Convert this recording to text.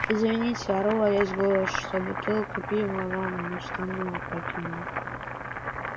извините ору во весь голос что бутылку пива вам на штаны опрокинула